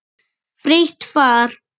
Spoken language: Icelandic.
Frítt far.